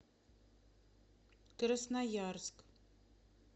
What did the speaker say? красноярск